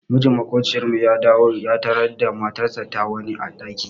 Mijin maƙociyar mu ya dawo ya tarar da matarsa da wani a ɗaki.